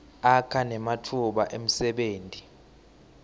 akha nematfuba emsebenti